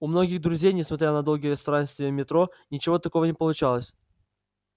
у многих друзей несмотря на долгие странствия в метро ничего такого не получалось